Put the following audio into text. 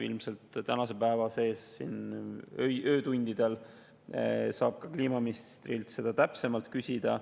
Ilmselt tänase päeva jooksul, öötundidel saab kliimaministrilt seda täpsemalt küsida.